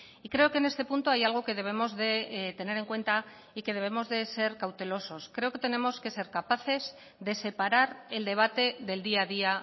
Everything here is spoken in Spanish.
y creo que en este punto hay algo que debemos de tener en cuenta y que debemos de ser cautelosos creo que tenemos que ser capaces de separar el debate del día a día